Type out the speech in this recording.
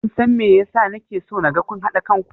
Kin san me yasa na ke so naga kun haɗa kan ku?